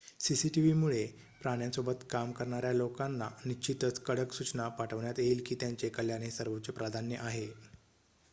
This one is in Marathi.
"""cctv मुळे प्राण्यांसोबत काम करणार्‍या लोकांना निश्चितच कडक सूचना पाठवण्यात येईल की त्यांचे कल्याण हे सर्वोच्च प्राधान्य आहे.""